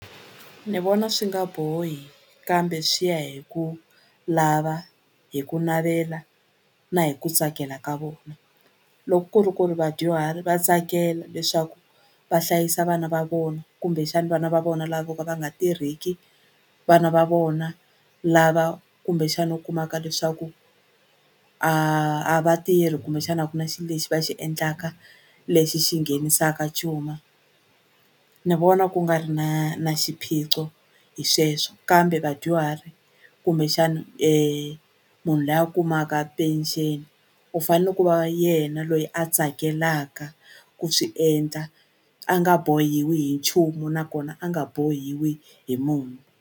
Ni vona swi nga bohi kambe swi ya hi ku lava hi ku navela na hi ku tsakela ka vona loko ku ri ku ri vadyuhari va tsakela leswaku va hlayisa vana va vona kumbexani vana va vona la vo ka va nga tirheki vana va vona lava kumbexani u kumaka leswaku a a va tirhi kumbexani a ku na xi lexi va xi endlaka lexi xi nghenisaka cuma ni vona ku nga ri na na xiphiqo hi sweswo kambe vadyuhari kumbexani munhu loyi a kumaka pension u fane ku va yena loyi a tsakelaka ku swi endla a nga bohiwi hi nchumu nakona a nga bohiwi hi munhu.